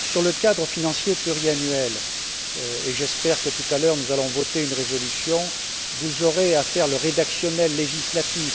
Sur le cadre financier pluriannuel et j'espère que, tout à l'heure, nous allons voter une résolution vous aurez à faire le rédactionnel législatif.